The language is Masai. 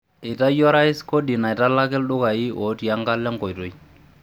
Eitayio orais kodi naitalaki ildukai ooti enkalo enkoitoi.